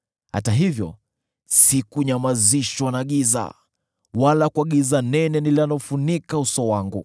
Hata hivyo sijanyamazishwa na giza, wala kwa giza nene linalofunika uso wangu.